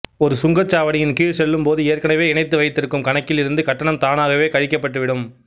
ஒரு சுங்க சாவடியின் கீழ் செல்லும்போது ஏற்கனவே இணைத்து வைத்திருக்கும் கணக்கில் இருந்து கட்டணம் தானாகவே கழிக்கப்பட்டு விடும்